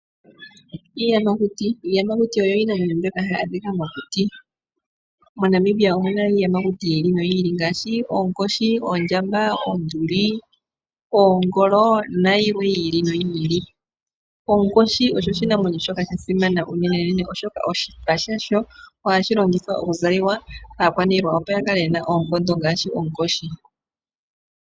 Iiyamakuti oyo iina mbyoka hayi adhikwa momakuti . MoNamibia omuna iiyamakuti yiili noyili ngaashi oonkoshi, oondjamba, oonduli , oongolo nayilwe. Oonkoshi oyo iinamwenyo mbyoka yasimana unene oshipa shasho ohashi longithwa okuzalwa kaakwaniilwa opo yakale yena oonkondo ngaashi oonkoshi.